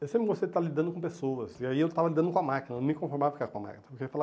Eu sempre gostei de estar lidando com pessoas, e aí eu estava lidando com a máquina, não me conformava ficar com a máquina.